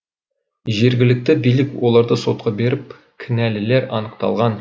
жергілікті билік оларды сотқа беріп кінәлілер анықталған